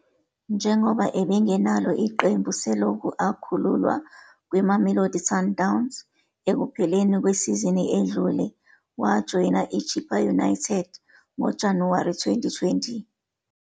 Njengoba ebengenalo iqembu selokhu akhululwa kwiMamelodi Sundowns ekupheleni kwesizini edlule, wajoyina iChippa United ngoJanuwari 2020.